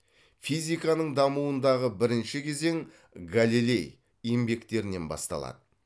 физиканың дамуындағы бірінші кезең галилей еңбектерінен басталады